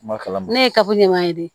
Ma kala ma ne ye kabini ma ye dɛ